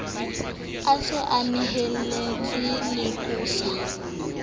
a se a neheletsa leqosa